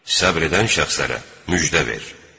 Səbr edən şəxslərə müjdə ver.